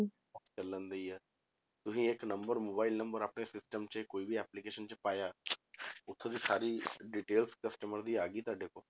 ਚੱਲਣ ਦੇ ਹੀ ਆ ਤੁਸੀਂ ਇੱਕ number mobile number ਆਪਣੇ system 'ਚ ਕੋਈ ਵੀ application 'ਚ ਪਾਇਆ ਉੱਥੋਂ ਦੀ ਸਾਰੀ details customer ਦੀ ਆ ਗਈ ਤੁਹਾਡੇ ਕੋਲ